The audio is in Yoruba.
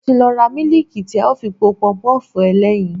Mo ti lọ ra mílíìkì tí a ó fi po Pọpọ́ọ̀fù ẹlẹ́yin.